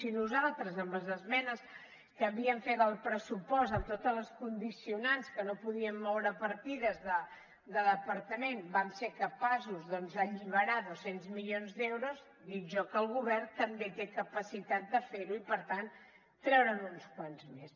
si nosaltres amb les esmenes que havíem fet al pressupost amb tots els condicionants que no podíem moure partides de departament vam ser capaços d’alliberar dos cents milions d’euros dic jo que el govern també té capacitat de fer ho i per tant treure’n uns quants més